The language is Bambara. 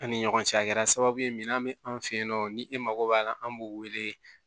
An ni ɲɔgɔn cɛ a kɛra sababu ye min bɛ an fɛ yen nɔ ni e mako b'a la an b'o wele